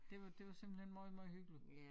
Det var det var simpelthen måj måj hyggeligt